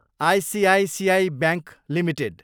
ICICI bank Ltd